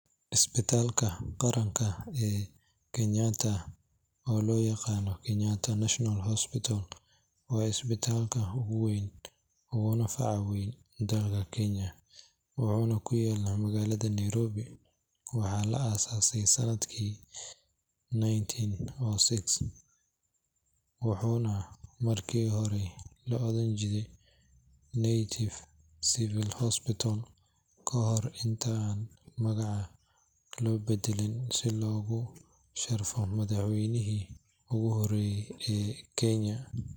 Isbitaalka qaranka ee Kenyatta oo loo yaqaan Kenyatta National Hospital waa isbitaalka ugu weyn uguna faca weyn dalka Kenya, wuxuuna ku yaalla magaalada Nairobi. Waxaa la aasaasay sannadkii nineteen o six wuxuuna markii hore la odhan jiray Native Civil Hospital, ka hor inta aan magaca loo beddelin si loogu sharfo madaxweynihii ugu horreeyay ee Kenya,